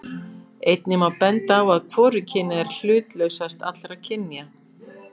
Einnig má benda á að hvorugkynið er hlutlausast allra kynja.